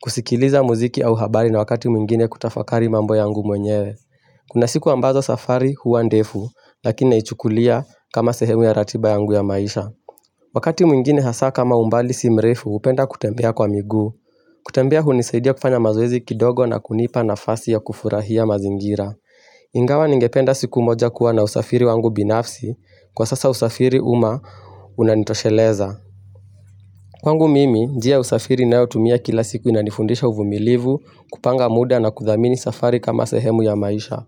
Kusikiliza muziki au habari na wakati mwingine kutafakari mambo yangu mwenyewe Kuna siku ambazo safari huwa ndefu Lakini naichukulia kama sehemu ya ratiba yangu ya maisha Wakati mwingine hasa kama umbali si mrefu hupenda kutembea kwa miguu kutembea hunisaidia kufanya mazoezi kidogo na kunipa nafasi ya kufurahia mazingira Ingawa ningependa siku moja kuwa na usafiri wangu binafsi Kwa sasa usafiri umma unanitosheleza Kwangu mimi, njia ya usafiri nayotumia kila siku inanifundisha uvumilivu kupanga muda na kudhamini safari kama sehemu ya maisha.